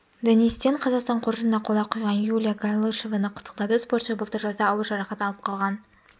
денис тен қазақстан қоржынына қола құйған юлия галышеваны құттықтады спортшы былтыр жазда ауыр жарақат алып қалған